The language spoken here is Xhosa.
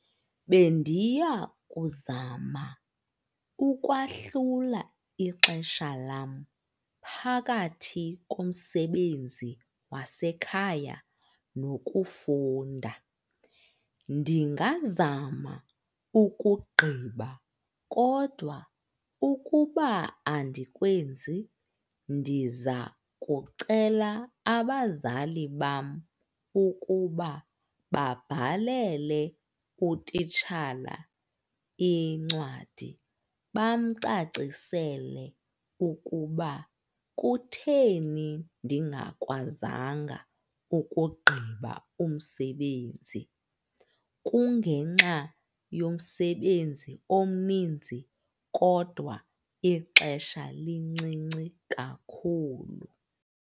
Bendiyakuzama ukwahlula ixesha lam phakathi komsebenzi wasekhaya nokufunda. Ndingazama ukugqiba kodwa ukuba andikwenzi ndiza kucela abazali bam ukuba babhalele utitshala incwadi bamcacisele ukuba kutheni ndingakwazanga ukugqiba umsebenzi, kungenxa yomsebenzi omninzi kodwa ixesha lincinci kakhulu.